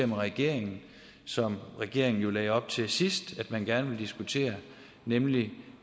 med regeringen som regeringen jo lagde op til sidst at de gerne ville diskutere nemlig